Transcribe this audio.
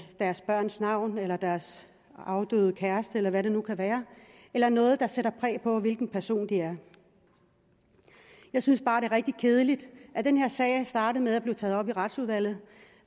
deres børns navn eller deres afdøde kærestes eller hvad det nu kan være eller noget der sætter præg på hvilken person de er jeg synes bare det er rigtig kedeligt den her sag er startet med at blive taget op i retsudvalget